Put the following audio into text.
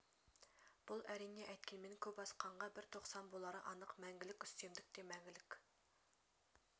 бұл әрине әйткенмен көп асқанға бір тосқан болары анық мәңгілік үстемдік те мәңгілік